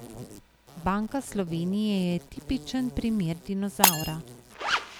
Banka Slovenije je tipičen primer dinozavra.